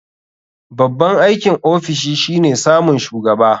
Babban aikin ofishi shine samun shugaba.